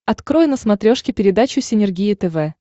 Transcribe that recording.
открой на смотрешке передачу синергия тв